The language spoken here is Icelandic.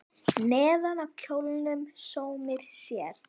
Neðan á kjólnum sómir sér.